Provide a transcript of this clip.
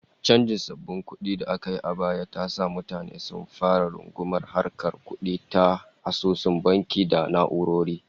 Chanjin sabbin kudi da aka yi a baya ta sa mutane sun fara rungumar harkar kudi ta asusun banki da na'urori